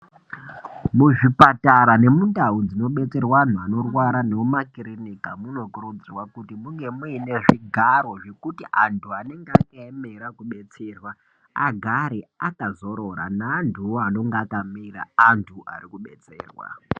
Muzvipatara nemundau dzinobetserwa anhu anorwara nekumakirinika munokuridzirwa kuti munge muine zvigaro zvekuti anhu anenge akaemera kudetserwa agare akazorora neantuwo anonga akamira antu arikubetserwa